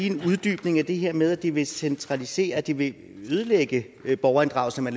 en uddybning af det her med at det vil centralisere at det vil ødelægge borgerinddragelsen at